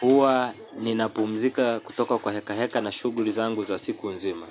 huwa ninapumzika kutoka kwa heka heka na shughuli zangu za siku nzima.